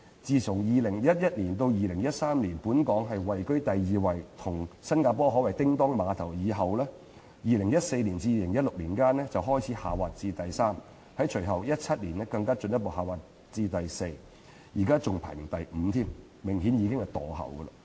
從2011年至2013年本港均位居第二，與榜首的新加坡可謂"叮噹馬頭"，但在2014年至2016年間則開始下滑至第三位，在隨後的2017年更進一步下滑至排名第四，現在更只能排在全球第五位，明顯已經"墮後"。